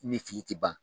Ni fili tɛ ban